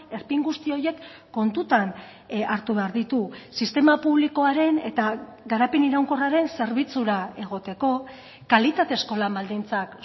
erpin guzti horiek kontutan hartu behar ditu sistema publikoaren eta garapen iraunkorraren zerbitzura egoteko kalitatezko lan baldintzak